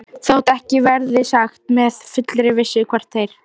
Þótt ekki verði sagt með fullri vissu, hvort þeir